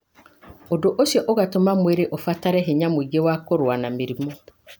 ũndũ ũcio ũgatũma mwĩrĩ ũbatare hinya mũingĩ wa kũrũa na mĩrimũ.